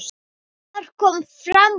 Þar kom fram að